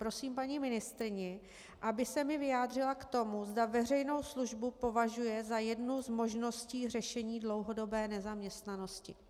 Prosím paní ministryni, aby se mi vyjádřila k tomu, zda veřejnou službu považuje za jednu z možností řešení dlouhodobé nezaměstnanosti.